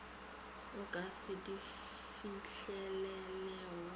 o ka se di fihlelelego